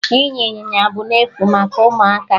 Ịnya Ịnyịnya bụ n'efu maka ụmụaka